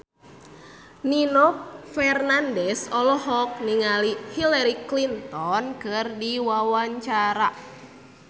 Nino Fernandez olohok ningali Hillary Clinton keur diwawancara